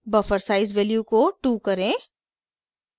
buffer size value को 2 करें